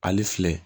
Ale filɛ